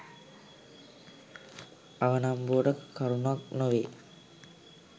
අවනම්බුවට කරුණක් නොවේ.